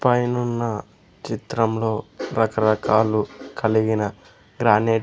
పైనున్న చిత్రంలో రకరకాలు కలిగిన గ్రానెట్ --